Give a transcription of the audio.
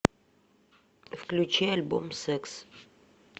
включи альбом секс